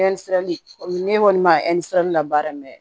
ne kɔni ma labaara